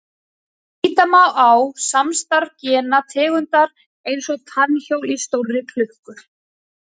Líta má á samstarf gena tegundar eins og tannhjól í stórri klukku.